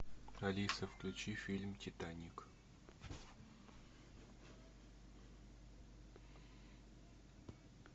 алиса включи фильм титаник